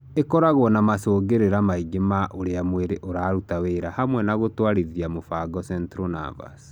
Ĩkoragwo na macũngĩrĩra maingĩ ma ũrĩa mwĩrĩ ũraruta wĩra hamwe na gũtwarithia mũbango central nervous.